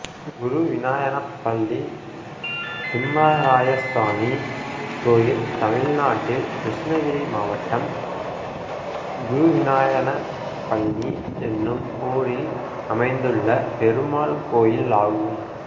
குருவிநாயனப்பள்ளி திம்மராயசாமி கோயில் தமிழ்நாட்டில் கிருஷ்ணகிரி மாவட்டம் குருவிநாயனப்பள்ளி என்னும் ஊரில் அமைந்துள்ள பெருமாள் கோயிலாகும்